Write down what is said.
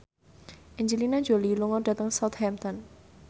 Angelina Jolie lunga dhateng Southampton